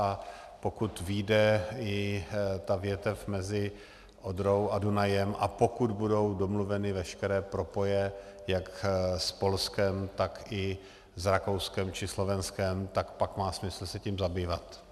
A pokud vyjde i ta větev mezi Odrou a Dunajem a pokud budou domluveny veškeré propoje jak s Polskem, tak i s Rakouskem či Slovenskem, tak pak má smysl se tím zabývat.